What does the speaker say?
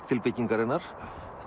til byggingarinnar